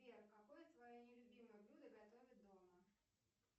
сбер какое твое нелюбимое блюдо готовят дома